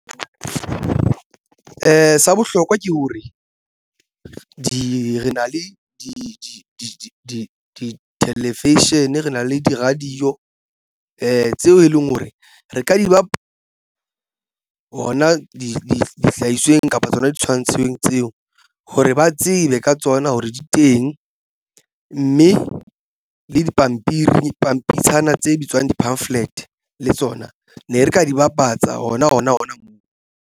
Sa bohlokwa ke hore re na le di-television rena le di-radio tseo e leng hore re ka di ba hona dihlahisweng kapa tsona di tshwantsheng tseo hore ba tsebe ka tsona hore di teng mme le dipampiri dipampitshana tse bitswang di-pamphlet le tsona ne re ka di bapatsa ona ona ona moo.